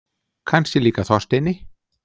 Kannski líka Þorsteini.